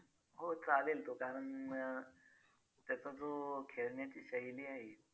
हो चालेल तो कारण त्याचा जो खेळण्याची शैली आहे